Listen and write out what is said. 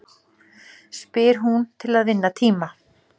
spyr hún til að vinna tíma.